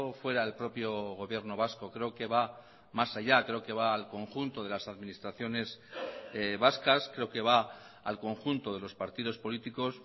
fuera el propio gobierno vasco creo que va más allá creo que va al conjunto de las administraciones vascas creo que va al conjunto de los partidos políticos